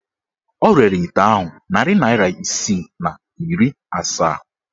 O rere ite ahụ narị naịra isii na iri asaa.